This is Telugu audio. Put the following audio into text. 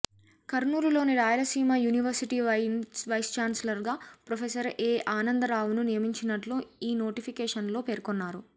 కర్నూలులోని రాయలసీమ యూనివర్శిటీ వైస్ ఛాన్సలర్గా ప్రొఫెసర్ ఏ ఆనంద రావును నియమించినట్లు ఈ నోటిఫికేసన్లో పేర్కొన్నారు